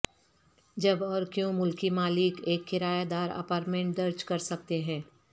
جب اور کیوں ملکی مالک ایک کرایہ دار اپارٹمنٹ درج کر سکتے ہیں